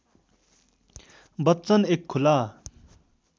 बच्चन एक खुला